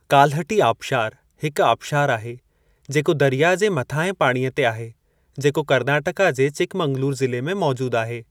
कालहटी आबिशारु हिक आबिशारु आहे जेको दरियाह जे मथाहें पाणीअ ते आहे, जेको कर्नाटका जे चिकमगलूर ज़िले में मौजूद आहे।